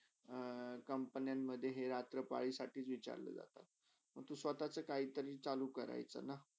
अ हा company मधे हे रात्र पालीसाठीच विचारला जाता. तर तू स्वतचा काहीतरी चालू करायचाना.